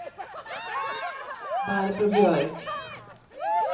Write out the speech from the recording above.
Barbro Björk